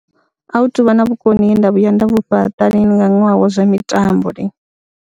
A hu tou vha na vhukoni he nda vhuya nda vhu fhaṱa lini nga ṅwaha wa zwa mitambo lini.